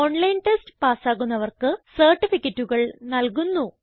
online test പാസ്സാകുന്നവർക്ക് സർട്ടിഫികറ്റുകൾ നല്കുന്നു